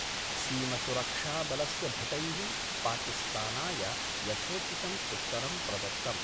सीमसुरक्षाबलस्य भटैः पाकिस्तानाय यथोचितं उत्तरं प्रदत्तम्।